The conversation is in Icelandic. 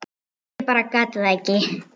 Ég bara gat það ekki.